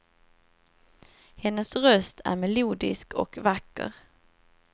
Hennes röst är melodisk och vacker.